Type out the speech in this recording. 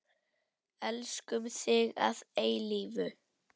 Elskum þig að eilífu.